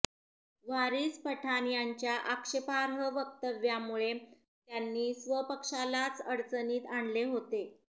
वारिस पठाण यांच्या आक्षेपार्ह वक्तव्यामुळे त्यांनी स्वपक्षालाच अडचणीत आणले होते